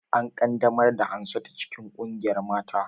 An ƙaddamar da Hansatu cikin ƙungiyar manyan mata